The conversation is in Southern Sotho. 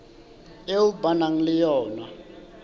eo ba nang le yona